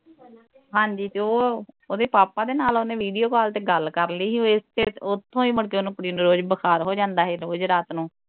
ਹਾਂਜੀ ਤੇ ਓਹ ਉਹਦੇ papa ਦੇ ਨਾਲ ਉਹਨੇ video call ਤੇ ਗੱਲ ਕਰ ਲਈ ਹੀ ਉਥੋਂ ਹੀ ਮੁੜਕੇ ਉਹਨੂੰ ਕੁੜੀ ਨੂੰ ਬੁਖਾਰ ਹੋ ਜਾਂਦਾ ਹੀ ਰੋਜ ਰਾਤ ਨੂੰ